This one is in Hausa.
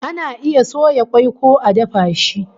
Ana iya soya kwai ko a dafa shi